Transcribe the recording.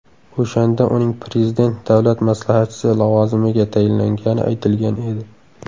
O‘shanda uning Prezident Davlat maslahatchisi lavozimiga tayinlangani aytilgan edi .